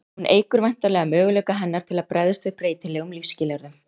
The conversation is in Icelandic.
Hún eykur væntanlega möguleika hennar til að bregðast við breytilegum lífsskilyrðum.